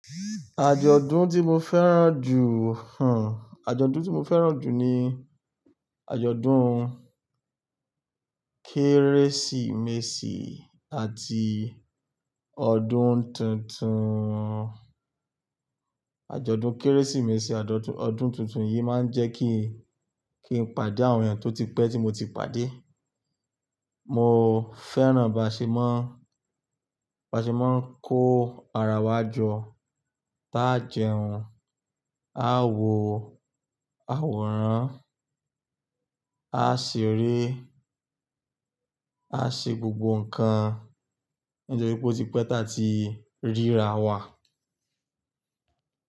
Àjọ̀dún tí mo fẹ́ràn jù, hùn, àjọ̀dún tí mo fẹ́ràn jù ni àjọ̀dún-un kérésìmesì àti ọdún tuntun. Àjọ̀dún kérésìmesì, ọdún tuntun yí máa ń jẹ́ kí, kí n pàdé àwọn èèyàn tí ó ti pẹ́ tí mo ti pàdé. Mo fẹ́ràn bá ṣe máa ń, bá ṣe máa kó ara wa jọ, tá jẹun, a wo àwòrán, a ṣeré, a ṣe gbogbo nǹkan, nítorí pé ó ti pẹ́ tá rírà wà.